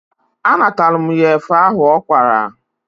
A natala mụ ya efe ahụ ọ kwara.